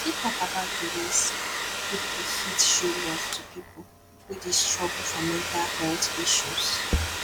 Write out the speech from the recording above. you fit talk about di ways people fit show love to people wey dey struggle for mental health issues